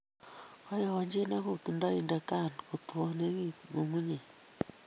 Koyojin ak kutundo inde CAN kotuonen nyung'unyek